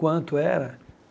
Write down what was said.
Quanto era?